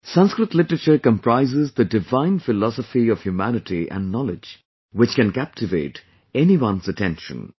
Sanskrit literature comprises the divine philosophy of humanity and knowledge which can captivate anyone's attention